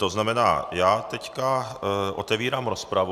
To znamená, já teď otevírám rozpravu.